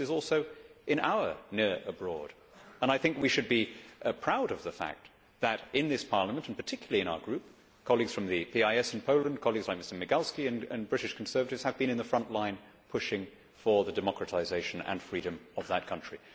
Belarus is also in our near abroad'. I think we should be proud of the fact that in this Parliament, and particularly in our group, colleagues from the PIS in Poland, colleagues like Mr Migalski, and British Conservatives have been in the front line pushing for the democratisation and freedom of that country.